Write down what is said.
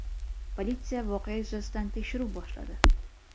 Politsiya voqea yuzasidan tekshiruv boshladi.